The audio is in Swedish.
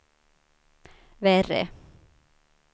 värre